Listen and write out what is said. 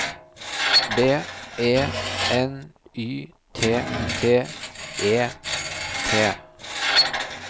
B E N Y T T E T